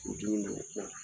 O dunnini bɛna tila